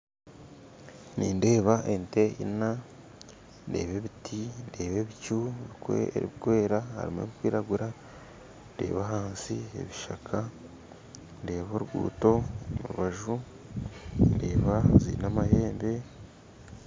Nindeeba ente ina ndeeba ebiti ndeeba ebicu ebikwera harimu ebikwiragura ndeeba hansi ya ebishaka ndeeba oruguuto omu rubaju ndeeba zina amahembe